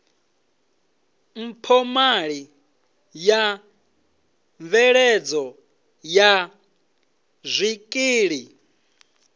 mphomali ya mveledzo ya zwikili